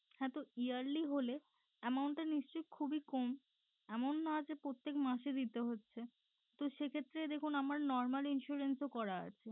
হ্যাঁ তো yearly হলে amount নিশ্চই খুবই কম এমন না যে প্রত্যেক মাসে দিতে হচ্ছে তো সেক্ষেত্রে দেখুন আমার normal insurance ও করা আছে